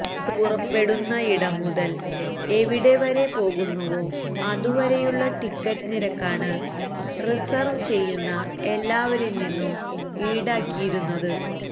bus പുറപ്പെടുന്നയിടം മുതല് എവിടെ വരെ പോകുന്നുവോ അതുവരെയുള്ള ടിക്കറ്റ് നിരക്കാണ് റിസർവ് ചെയ്യുന്ന എല്ലാവരില് നിന്നും ഈടാക്കിയിരുന്നത്